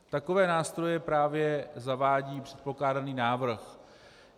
Takové nástroje právě zavádí předkládaný návrh.